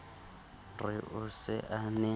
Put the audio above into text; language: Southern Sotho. re o se a ne